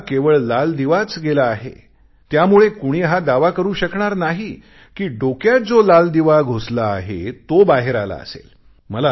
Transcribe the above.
आता केवळ लाल दिवाच गेला आहे त्यामुळे कुणी हा दावा करू शकणार नाही कि डोक्यात जो लाल दिवा घुसला आहे तो बाहेर आला असेल